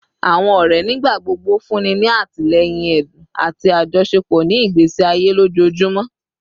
Awọn ọrẹ nigbagbogbo funni ni atilẹyin ẹdun ati ajọṣepọ ni igbesi aye ojoojumọ